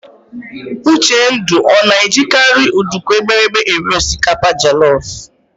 Uchendu ọ na-ejikarị nduku eghere eghe eri osikapa jelọf?